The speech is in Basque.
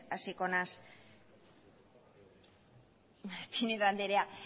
hasiko naiz pinedo andrea